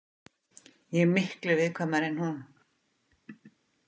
Ég er miklu viðkvæmari en hún.